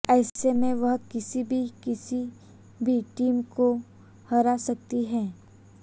ऐसे में वह किसी भी किसी भी टीम को हरा सकती है